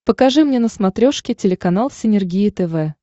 покажи мне на смотрешке телеканал синергия тв